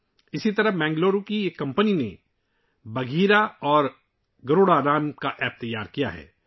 اسی طرح بنگلورو کی ایک کمپنی نے 'باگھیرا' اور 'گروڈ' نامی ایپ تیار کی ہے